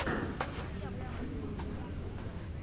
в ютубе моя кухня